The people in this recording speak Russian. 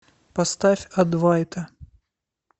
поставь адвайта